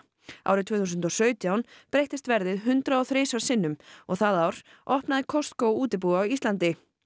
árið tvö þúsund og sautján breyttist verðið hundrað og þrisvar sinnum og það ár opnaði Costco útibú á Íslandi